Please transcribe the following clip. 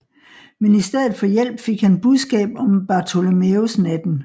Men i stedet for hjælp fik han budskab om Bartholomæusnatten